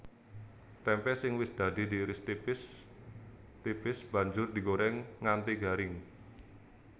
Témpé sing wis dadi diiris tipis tipis banjur digorèng nganti garing